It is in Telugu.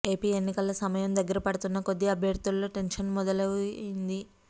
ఏపీ ఎన్నికల సమయం దగ్గర పడుతున్న కొద్దీ అభ్యర్థుల్లో టెన్షన్ మొదలు అయ్యింది